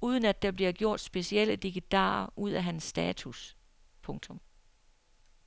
uden at der bliver gjort specielle dikkedarer ud af hans status. punktum